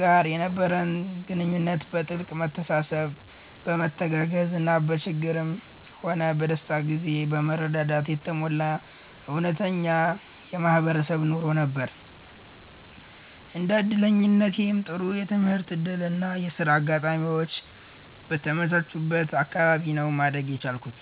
ጋር የነበረን ግንኙነት በጥልቅ መተሳሰብ፣ በመተጋገዝ እና በችግርም ሆነ በደስታ ጊዜ በመረዳዳት የተሞላ እውነተኛ የማህበረሰብ ኑሮ ነበር። እንደ እድለኛነቴም ጥሩ የትምህርት እድል እና የሥራ አጋጣሚዎች በተመቻቸበት አካባቢ ነው ማደግ የቻልኩት።